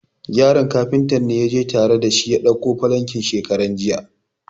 Yaron Kafuntan ne ya je tare da shi ya dauko falankin shekaran jiya.